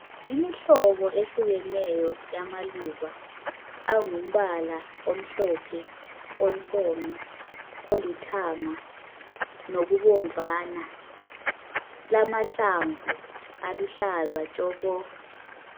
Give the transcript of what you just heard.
Imihlobo ehlukeneyo yamaluba angumbala omhlophe, onsomi, olithanga nokubomvana lamahlamvu aluhlaza tshoko.